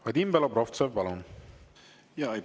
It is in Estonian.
Vadim Belobrovtsev, palun!